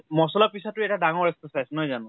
মছলা পিছা তো এটা ডাঙৰ exercise, নহয় জানো ?